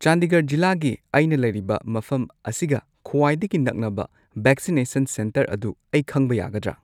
ꯆꯥꯟꯗꯤꯒꯔ ꯖꯤꯂꯥꯒꯤ ꯑꯩꯅ ꯂꯩꯔꯤꯕ ꯃꯐꯝ ꯑꯁꯤꯒ ꯈ꯭ꯋꯥꯏꯗꯒꯤ ꯅꯛꯅꯕ ꯚꯦꯛꯁꯤꯅꯦꯁꯟ ꯁꯦꯟꯇꯔ ꯑꯗꯨ ꯑꯩ ꯈꯪꯕ ꯌꯥꯒꯗ꯭ꯔꯥ